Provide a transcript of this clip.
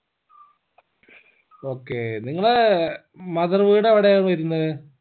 okay നിങ്ങളെ mother വീട് എവ്ടെയാ വരുന്നേ